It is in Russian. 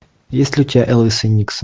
есть ли у тебя элвис и никсон